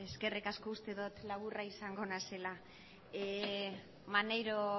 eskerrik asko urte dut laburra izango naizela maneiro